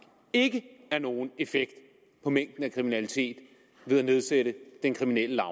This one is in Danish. ikke er nogen effekt på mængden af kriminalitet ved at nedsætte den kriminelle